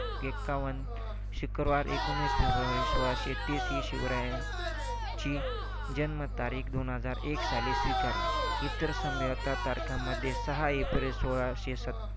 एककवण शुक्रवार एकोणीस फेब्रुवारी सोळाशे तीस ही शिवरा यांची जन्मतारीख दोन हजार एक साली स्वीकारली. इतर संभाव्य तारखांमध्ये सहा एप्रिल सोळाशी सतत